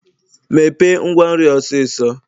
Mepee ngwa nri a osiso.